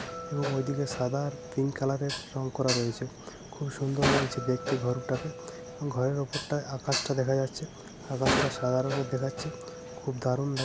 এবং ঐদিকে সাদা আর পিঙ্ক কালার এর রং করা রয়েছে খুব সুন্দর দেখতে লাগছে দেখতে ঘরটাকে এবং ঘরের ওপরটায় আকাশটা দেখা যাচ্ছে আকাশটা সাদা রঙের দেখাচ্ছে খুব দারুন লাগ --